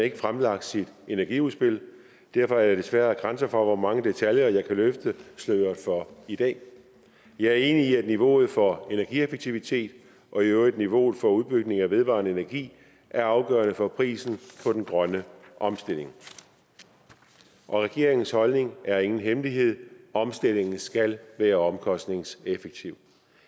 ikke fremlagt sit energiudspil og derfor er der desværre grænser for hvor mange detaljer jeg kan løfte sløret for i dag jeg er enig i at niveauet for energieffektivitet og i øvrigt niveauet for udbygning af vedvarende energi er afgørende for prisen for den grønne omstilling og regeringens holdning er ingen hemmelighed omstillingen skal være omkostningseffektiv